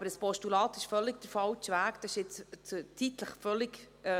Aber ein Postulat ist der völlig falsche Weg und passt nicht in den Zeitplan.